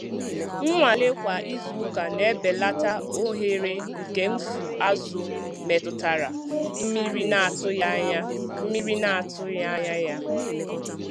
Nnwale kwa izuụka na-ebelata ohere nke mfu azụ̀ metụtara mmiri na-atụghị anya mmiri na-atụghị anya ya.